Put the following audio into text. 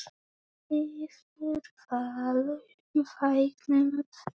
Svífur Valur vængjum þöndum?